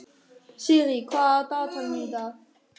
Sirrí, hvað er í dagatalinu mínu í dag?